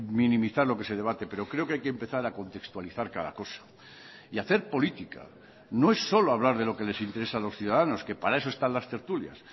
minimizar lo que se debate pero creo que hay que empezar a contextualizar cada cosa y hacer política no es solo hablar de lo que les interesa a los ciudadanos que para eso están las tertulias